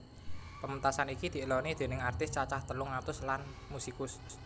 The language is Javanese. Pementasan iki dieloni déning artis cacah telung atus lan musikus